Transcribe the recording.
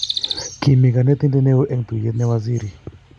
Kimii konetinte ne oo eng tuye ne wazirit.